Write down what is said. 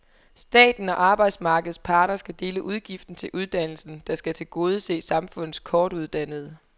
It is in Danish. Staten og arbejdsmarkedets parter skal dele udgiften til uddannelsen, der skal tilgodese samfundets kortuddannede.